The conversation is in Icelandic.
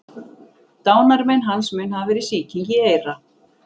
Dánarmein hans mun hafa verið sýking í eyra.